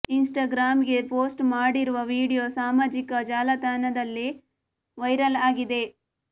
Instagram ಗೆ post ಮಾಡಿರುವ video ಸಾಮಾಜಿಕ ಜಾಲತಾಣದಲ್ಲಿ ವೈರಲ್ ಆಗಿದೆ